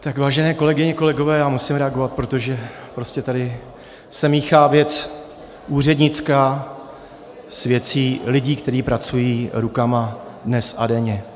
Tak, vážené kolegyně, kolegové, já musím reagovat, protože prostě tady se míchá věc úřednická s věcí lidí, kteří pracují rukama dnes a denně.